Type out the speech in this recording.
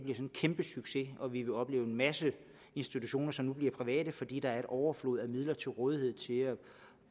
en kæmpe succes hvor vi vil opleve en masse institutioner som bliver private fordi der er en overflod af midler til rådighed til at